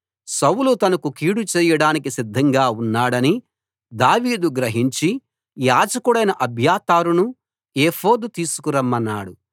సౌలు తనకు కీడు చేయడానికి సిద్ధంగా ఉన్నాడని దావీదు గ్రహించి యాజకుడైన అబ్యాతారును ఏఫోదు తీసుకురమ్మన్నాడు